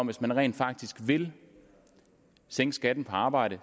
hvis man rent faktisk vil sænke skatten på arbejde